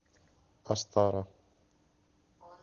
астара